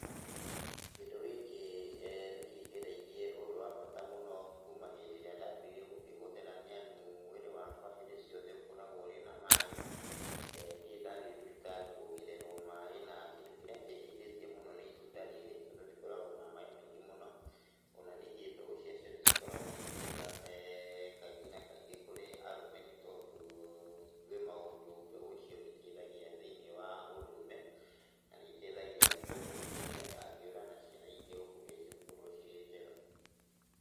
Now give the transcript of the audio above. Kĩndũ gĩkĩ nĩkĩngereirie ũndũ wa bata mũno kuma hĩndĩ ĩrĩa ndambĩrĩirie gũkĩhũthĩra nĩamu mwĩrĩ wakwa hĩndĩ ciothe ũkoragwo ũrĩ na maaĩ, ndirĩ ndathiĩ thibitarĩ kuongererwo maaĩ, na kĩndũ kĩrĩa kĩndaithĩtie mũno nĩ itunda rĩrĩ, tondũ rĩkoragwo na maaĩ maingĩ mũno, ona ningĩ mbegũ ciacio nĩcikoragwo ciĩnjega kaingĩ na kaingĩ kũrĩ arũme nĩtondũ kwĩ maũndũ mbegũ icio itaithagia thĩinĩ wa ũndũrũme, na nĩitaithagia nĩtondũ mũtumia ndangĩũra, na ciana iria ũkũgĩa cigũkorwo cirĩ njega.